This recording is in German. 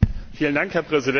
Herr Präsident!